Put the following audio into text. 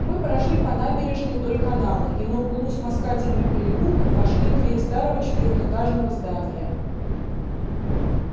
мы прошли по набережной вдоль канала и на углу с москательным переулком вошли в дверь старого четырёхэтажного здания